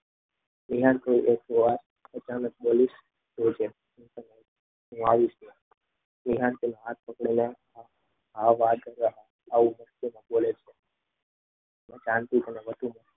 વિહાર અચાનક બોલી ઉઠ્યો હું આવી ગયો વિહાન હાથ પકડેલા